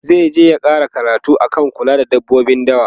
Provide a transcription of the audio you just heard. zaije ya ƙara karatu akan kula da dabbobin dawa